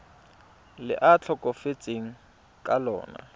le a tlhokafetseng ka lona